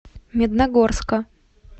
медногорска